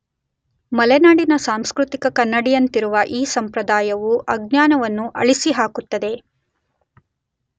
ಮಲೆನಾಡಿನ ಸಾಂಸ್ಕೃತಿಕ ಕನ್ನಡಿಯಂತಿರುವ ಈ ಸಂಪ್ರದಾಯವು ಅಜ್ಞಾನವನ್ನು ಅಳಿಸಿ ಹಾಕುತ್ತದೆ